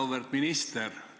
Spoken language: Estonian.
Auväärt minister!